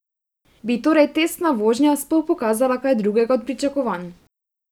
Bi torej testna vožnja sploh pokazala kaj drugega od pričakovanj?